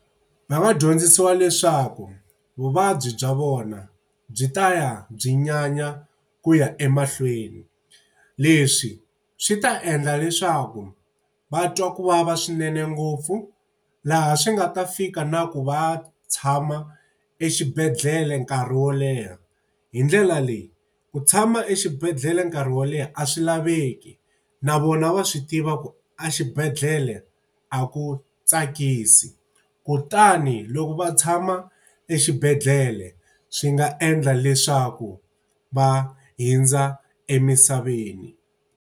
Va nga dyondzisiwa leswaku vuvabyi bya vona byi ta ya byi nyanya ku ya emahlweni. Leswi swi ta endla leswaku va twa ku vava swinene ngopfu, laha swi nga ta fika na ku va tshama exibedhlele nkarhi wo leha. Hi ndlela leyi ku tshama exibedhlele nkarhi wo leha a swi laveki, na vona wa swi tiva ku exibedhlele a ku tsakisi. Kutani loko va tshama exibedhlele swi nga endla leswaku va hundza emisaveni.